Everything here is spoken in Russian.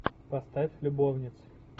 поставь любовницы